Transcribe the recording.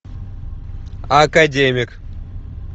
академик